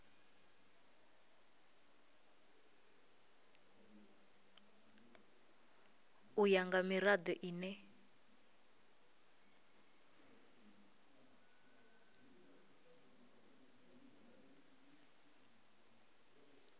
u ya nga mirado ine